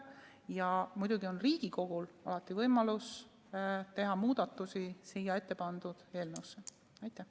Ja muidugi on Riigikogul alati võimalus teha sellesse eelnõusse muudatusi.